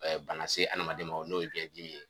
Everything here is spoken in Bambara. bana se adamaden ma o n'o ye gɛdimi ye